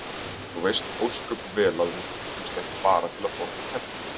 Þú veist ósköp vel að við hittumst ekki bara til að borða tertur.